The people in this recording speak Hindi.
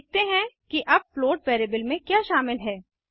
देखते हैं कि अब फ्लोट वैरिएबल में क्या शामिल है